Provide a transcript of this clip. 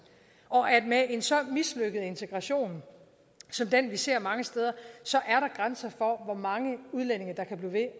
og at der med en så mislykket integration som den vi ser mange steder er grænser for hvor mange udlændinge der kan blive ved